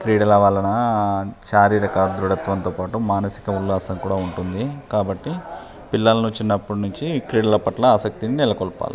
క్రీడల వల్లన శారీరక దృడత్వం తో పాటు మానసిక ఉల్లాసం కూడా ఉంటది కాబట్టి పిల్లల్ని చిన్నప్పటి నించి క్రీడల పట్ల ఆసక్తి నెలకొలపాలి.